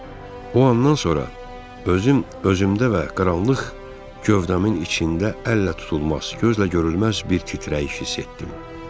O andan sonra özüm özümdə və qaranlıq gövdəmin içində əllə tutulmaz, gözlə görünməz bir titrəyiş hiss etdim.